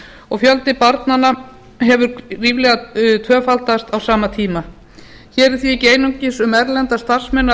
og fjöldi barnanna hefur ríflega tvöfaldast á sama tíma hér er því ekki einungis um erlenda starfsmenn að